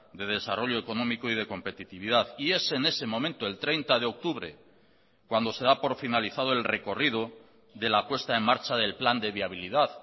de desarrollo económico y de competitividad y es en ese momento el treinta de octubre cuando se da por finalizado el recorrido de la puesta en marcha del plan de viabilidad